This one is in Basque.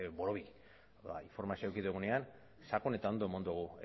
borobil informazioa eduki dugunean sakon eta ondo eman dugu